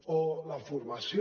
o la formació